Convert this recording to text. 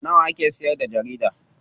Nawa ake siyarda jarida?